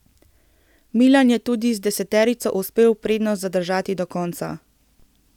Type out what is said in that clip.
Milan je tudi z deseterico uspel prednost zadržati do konca.